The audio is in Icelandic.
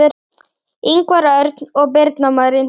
Ingvar Örn og Birna Marín.